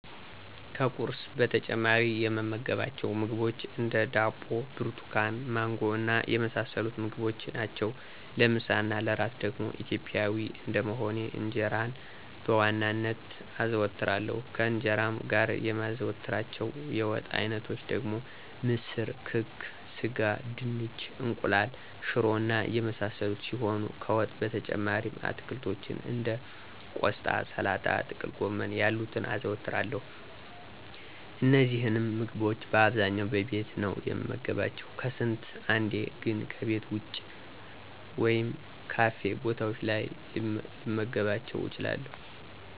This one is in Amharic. ከቁርስ በተጨማሪ የምመገባቸው ምግቦች እንደ፦ ዳቦ፣ ብርቱካን፣ ማንጎ እና የመሳሰሉትን ምግቦች ናቸው። ለምሳ እና ለእራት ደግሞ ኢትዮጵያዊ እንደመሆኔ እንጀራን በዋናነት አዘወትራለሁ፤ ከእንጀራውም ጋር የማዘወትራቸው የወጥ አይነቶች ደግሞ ምስር፣ ክክ፣ ስጋ፣ ድንች፣ እንቁላል፣ ሽሮ እና የመሳሰሉት ሲሆኑ ከወጥ በተጨማሪም አትክልቶችን እንደ ቆስጣ፣ ሰላጣ፣ ጥቅልጎመን ያሉትን አዘወትራለሁ። እነዚህንም ምግቦች በአብዛኛው በቤቴ ነው የምመገባቸው፤ ከስንት አንዴ ግን ከቤት ወጭ ወይም ካፌ ቦታዎች ላይ ልመገባቸው እችላለሁ።